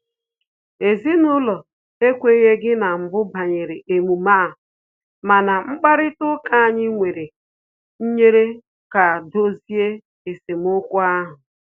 Ezinụlọ anyị ekwenyeghi na mbụ banyere emume a, mana mkparịta ụka anyị nwere nyere aka dozie esemokwu ahụ